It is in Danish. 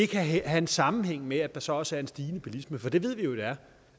kan have en sammenhæng med at der så også er en stigende bilisme for det ved vi jo der er